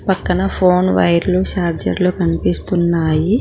పక్కన ఫోన్ వైర్లు చార్జర్లు కనిపిస్తున్నాయి.